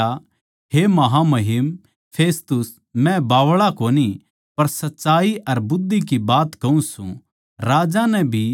पर पौलुस नै कह्या हे महामहिम फेस्तुस मै बावळा कोनी पर सच्चाई अर बुद्धि की बात कहूँ सूं